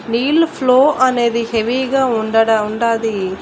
నీళ్ళు అనేది హెవీగా ఉండడ ఉండాది.